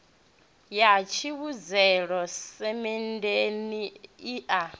ya tevhutshela semenndeni i a